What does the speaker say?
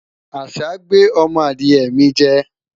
àṣà gbé ọmọ Adiye mi jẹ